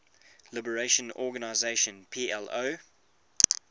liberation organization plo